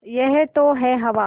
यह तो है हवा